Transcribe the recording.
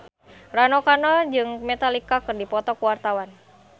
Rano Karno jeung Metallica keur dipoto ku wartawan